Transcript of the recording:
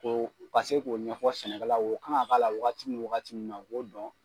Ko ka se k'o ɲɛfɔ sɛnɛkɛlaw ye o kan ka k'a la wagati min wagati min na o k'o dɔn.